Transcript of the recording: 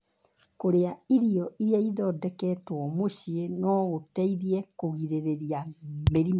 Kũrĩa irio iria ithondeketwo mũciĩ no gũteithie kũgirĩrĩria mĩrimũ.